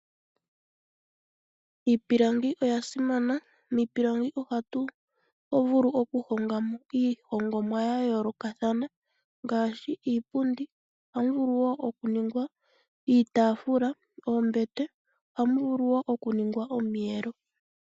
Iipilangi oya simana. Miipilangi ohatu vulu oku honga mo iihongomwa ya yoolokathana ngaashi iipundi, ohamu vulu woo oku ningwa iitaafula, oombete, mo ohamu vulu woo oku ningwa omiyelo.